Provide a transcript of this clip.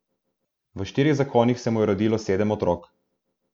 V štirih zakonih se mu je rodilo sedem otrok.